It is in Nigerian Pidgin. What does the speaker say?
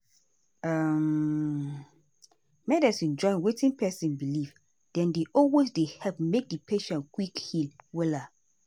umrest small. medicine join wetin patient believe dem dey always dey help make di patient quick heal wella.